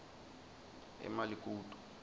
emalikutu